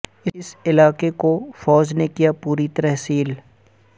اس علاقے کو فوج نے کیا پوری طرح سیل